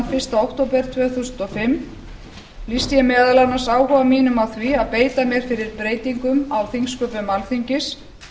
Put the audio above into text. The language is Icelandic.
fyrsta október tvö þúsund og fimm lýsti ég meðal annars áhuga mínum á því að beita mér fyrir breytingum á þingsköpum alþingis